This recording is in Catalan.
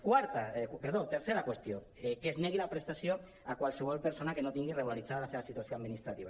tercera qüestió que es negui la prestació a qualsevol persona que no tingui re·gularitzada la seva situació administrativa